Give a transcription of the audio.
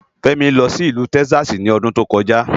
Femi lò si ilù Tèkisási lòdùn tókòjá